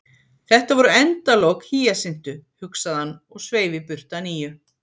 Þetta voru endalok Hýjasintu, hugsaði hann, og sveif í burtu að nýju.